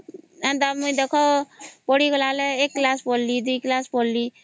ହଁ ଏଣ୍ଟ ଦେଖ ପଢ଼ିଗଲା ବେଳେ ଏକ ସିଲସସ ପଢ଼ିଲି ଦୁଇ class ପଢ଼ିଲି